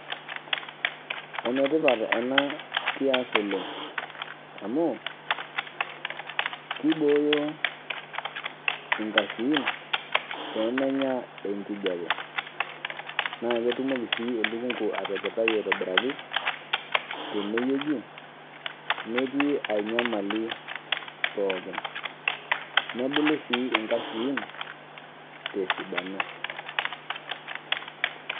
Enetipat enakias oleng amu kibooyo nkashuin pemenya enkijape, naketumoki sii elukungu atepetai aitobiraki tenewueji netii ainyamali pookin nebulu sii nkaishuin tesidano.